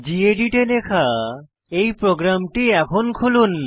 gedit এ লেখা এই প্রোগ্রাম এখন লিখুন